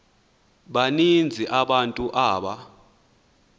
baninzi abantu aba